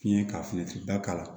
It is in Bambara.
Fiɲɛ ka finiba k'a la